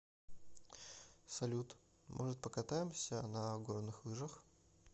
салют может покатаемся на горных лыжах